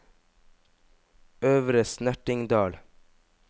Øvre Snertingdal